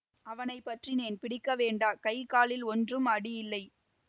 அவனை பற்றினேன் பிடிக்க வேண்டா கை காலில் ஒன்றும் அடி இல்லை